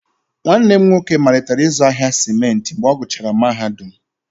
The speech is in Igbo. Nwanne m nwoke malitere ịzụ ahịa simenti mgbe ọ gụchara mahadum,